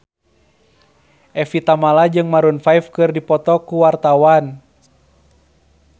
Evie Tamala jeung Maroon 5 keur dipoto ku wartawan